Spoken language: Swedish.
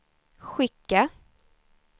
skicka